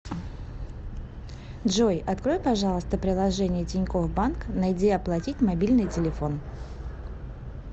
джой открой пожалуйста приложение тинькофф банк найди оплатить мобильный телефон